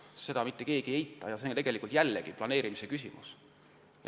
Seda ei eita keegi ja seegi on ju planeerimise küsimus.